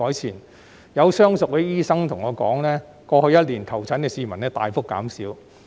此外，亦有相熟的醫生告訴我，過去一年求診的市民人數大幅減少。